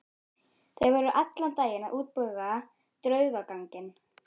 Þeir voru allan daginn að útbúa draugaganginn.